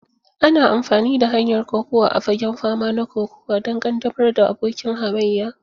Ana amfani da hanyar kokuwa a fagen fama na kokuwa don ƙaddamar da abokin hamayya.